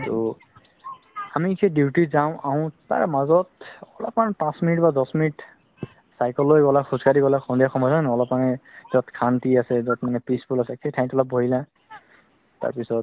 ট আমি যে duty যাও আহো তাৰ মাজত অলপমান পাচ minute বা দহ minute cycle লৈ গলা খোজ কাঢ়ি গলা সন্ধিয়া সময় হয় নে নহয় অলপ মান যত শন্তি আছে যত peaceful আছে সেই ঠাইতো লৈ বহিলা তাৰ পিছত